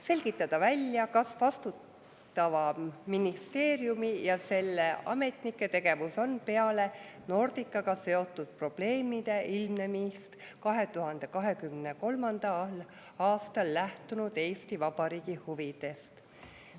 Selgitada välja, kas vastutava ministeeriumi ja selle ametnike tegevus on peale Nordicaga seotud probleemide ilmnemist 2023. aastal lähtunud Eesti Vabariigi huvidest.